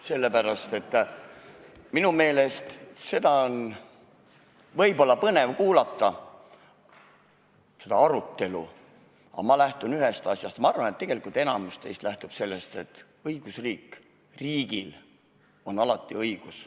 Sellepärast, et minu meelest seda arutelu on võib-olla põnev kuulata, aga ma lähtun ühest asjast – ma arvan, et tegelikult enamik teist lähtub sellest –, et riigil on alati õigus.